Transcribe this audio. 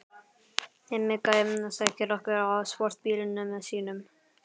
Hemmi gæi sækir okkur á sportbílnum sínum.